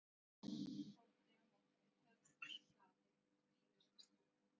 Tekur Ormur bóndi á móti þeim feðgum í hlaði og býður til stofu.